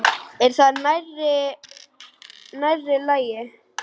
Er það nærri lagi?